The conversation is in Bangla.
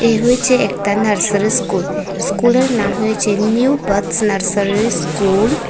এ হয়েছে একতা নার্সারি স্কুল স্কুলের নাম হয়েছে নিউ বাডস নার্সারি স্কুল ।